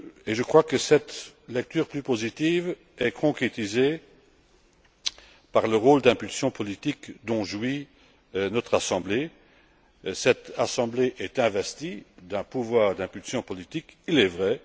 Je crois que cette lecture plus positive est concrétisée par le rôle d'impulsion politique dont jouit notre Assemblée. Cette Assemblée est investie d'un pouvoir d'impulsion politique, il est vrai.